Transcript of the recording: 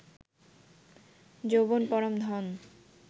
যৌবন পরম ধন